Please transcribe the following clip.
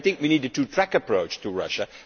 I think we need a two-track approach to Russia.